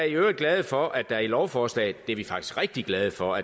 i øvrigt glade for at der i lovforslaget det er vi faktisk rigtig glade for